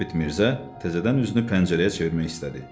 Sabit Mirzə təzədən üzünü pəncərəyə çevirmək istədi.